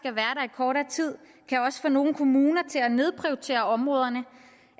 kortere tid kan også få nogle kommuner til at nedprioritere områderne